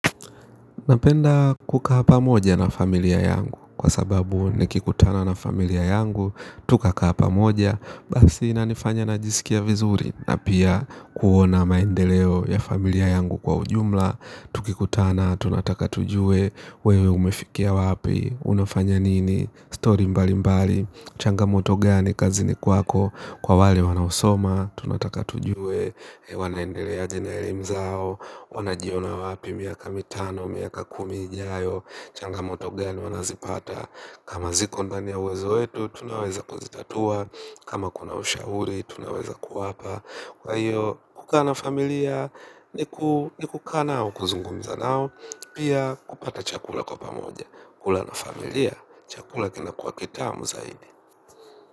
Napenda kukaa pamoja na familia yangu, kwa sababu nikikutana na familia yangu, tukakaa pamoja, basi inanifanya najisikia vizuri, na pia kuona maendeleo ya familia yangu kwa ujumla. Tukikutana, tunataka tujue wewe umefikia wapi. Unafanya nini, story mbali mbali. Changamoto gani, kazini kwako. Kwa wale wanaosoma tunataka tujue. Wanaendeleaje na elimu zao. Wanajiona wapi, miaka mitano, miaka kumi jayo. Changamoto gani, wanazipata kama ziko ndani ya uwezo wetu, tunaweza kuzitatua. Kama kuna ushauri, tunaweza kuwapa. Kwa hiyo, kukaa na familia. Ni kukaa na au kuzungumza na au pia kupata chakula kwa pamoja. Kula na familia. Chakula kinakuwa kitamu zaidi.